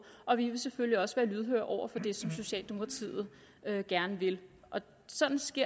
og vi vil selvfølgelig også være lydhøre over for det som socialdemokratiet gerne vil sådan